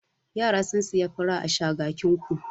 Yara sun sayi fura a Shagakinku.